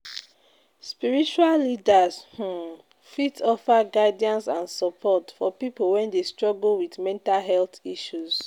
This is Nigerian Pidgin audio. Spiritual leaders um fit offer guidance and support for people wey dey struggle with mental health issues.